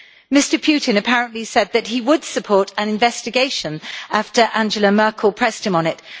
Mr Putin apparently said that he would support an investigation after Angela Merkel pressed him on it.